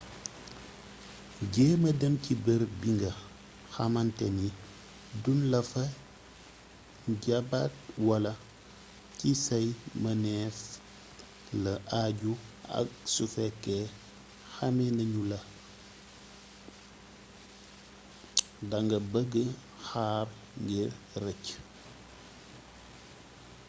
jeema dem ci bërëb bi nga xamanteni duun lafa jaapat wala ci say mëneef la aju ak su fekke xame nañula da nga bëgga xaar ngir rëcc